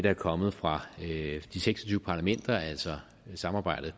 er kommet fra de seks og tyve parlamenter altså samarbejdet